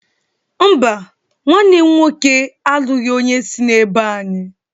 Mba, nwanne m nwoke alụghị onye si n'ebo anyị